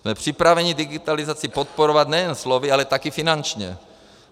Jsme připraveni digitalizaci podporovat nejen slovy, ale taky finančně.